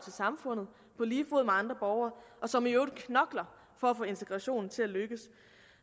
samfundet på lige fod med andre borgere og som i øvrigt knokler for at få integrationen til at lykkes